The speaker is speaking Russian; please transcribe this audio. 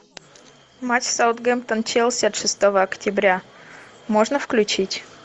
матч саутгемптон челси от шестого октября можно включить